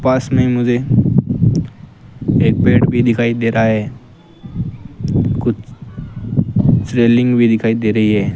पास में मुझे एक पेड़ भी दिखाई दे रहा है कुछ रेलिंग भी दिखाई दे रही है।